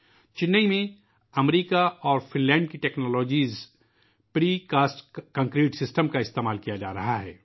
چنئی میں ، امریکہ اور فن لینڈ کی precast concrete system technology کا استعمال کیا جارہا ہے